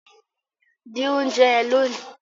din oúnjẹ yen lóni!